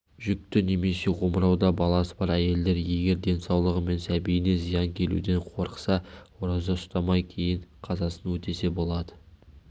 жүкті немесе омырауда баласы бар әйелдер егер денсаулығы мен сәбиіне зиян келуден қорықса ораза ұстамай кейін қазасын өтесе болады